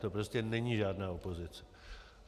To prostě není žádná opozice.